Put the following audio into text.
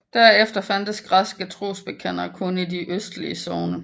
Der efter fandtes græske trosbekendere kun i de østligste sogne